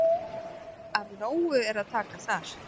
Af nógu er að taka þar.